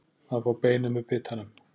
Að fá beinið með bitanum